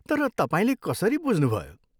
तर तपाईँले कसरी बुझ्नुभयो?